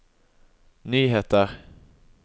nyheter